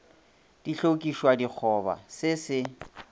di hlokišwa dikgoba se se